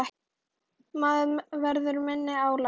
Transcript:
Maður verður fyrir minna álagi.